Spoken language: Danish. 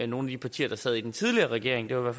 nogle af de partier der sad i den tidligere regering det var